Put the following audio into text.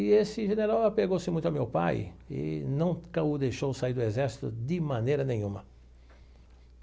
E esse general apegou-se muito ao meu pai e nunca o deixou sair do exército de maneira nenhuma.